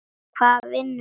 Hvar vinnur hún?